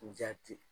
Jati